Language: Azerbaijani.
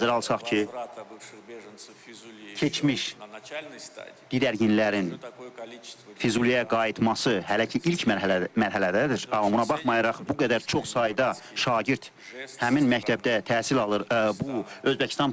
Nəzərə alsaq ki, keçmiş, didərginlərin Füzuliyə qayıtması hələ ki ilk mərhələdədir, amma buna baxmayaraq, bu qədər çox sayda şagird həmin məktəbdə təhsil alır, bu Özbəkistan prezidenti tərəfindən dost bir qardaş jesti idi.